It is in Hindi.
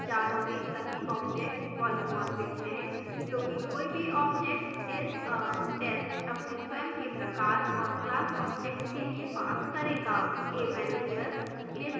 java में सभी objects polymorphic है क्योंकि कोई भी objects isa test अपने स्वयं के प्रकार और class objects के लिए pass करेगा